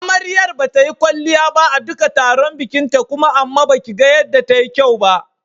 Amaryar bata yi kwalliya ba a duka tarukan bikinta kuma amma baki ga yanda ta yi kyau ba.